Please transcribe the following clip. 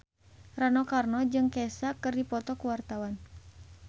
Rano Karno jeung Kesha keur dipoto ku wartawan